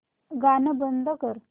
गाणं बंद कर